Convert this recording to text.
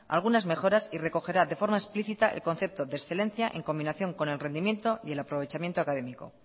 algunas mejoras y recogerá de forma explícita el concepto de excelencia en combinación con el rendimiento y el aprovechamiento académico